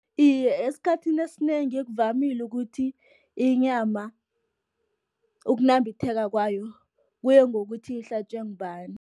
Iye, eskhathini esinengi kuvamile ukuthi inyama, ukunambitheka kwayo kuye ngokuthi ihlatjwe ngubani.